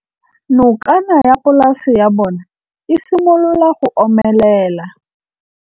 Nokana ya polase ya bona, e simolola go omelela.